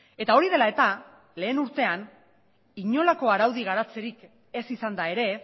eta hori dela eta lehen urtean inolako araudi garatzerik ez izanda ere